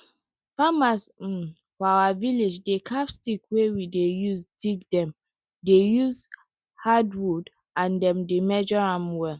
farmers um for our village dey carve stick wey we dey use dig dem dey use hard wood and dem dey measure am well